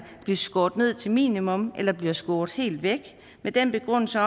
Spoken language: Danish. blive skåret ned til minimum eller blive skåret helt væk med den begrundelse